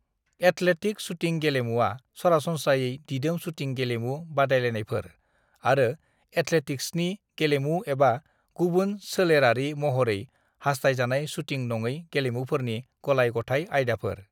Athletic shooting गेलेमुवा सरासनस्रायै दिदोम शूटिं गेलेमु बादायलायनायफोर आरो एथलेटिक्सनि गेलेमु एबा गुबुन सोलेरारि महरै हास्थायजानाय शूटिं नङै गेलेमुफोरनि गलाय-गथाय आयदाफोर।